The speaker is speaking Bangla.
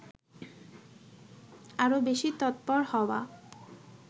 আরও বেশি তৎপর হওয়া